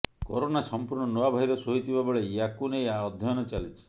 corona ସମ୍ପୂର୍ଣ୍ଣ ନୂଆ virus ହୋଇଥିବା ବେଳେ ୟାକୁ ନେଇ ଅଧ୍ୟୟନ ଚାଲିଛି